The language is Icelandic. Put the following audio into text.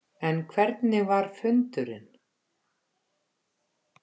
En hvernig var fundurinn?